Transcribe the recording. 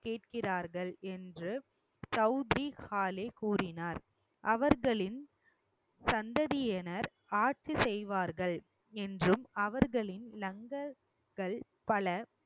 கேட்கிறார்கள் என்று சவுத்திரி காலே கூறினார் அவர்களின் சந்ததியினர் ஆட்சி செய்வார்கள் என்றும் அவர்களின் லங்கர்கள் பல